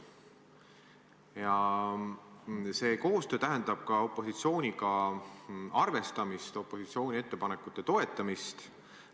Ja see koostöö tähendab ka opositsiooniga arvestamist, opositsiooni ettepanekute toetamist.